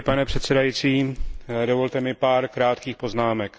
Pane předsedající, dovolte mi pár krátkých poznámek.